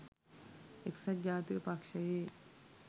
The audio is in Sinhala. එක්සත් ජාතික පක්ෂයේ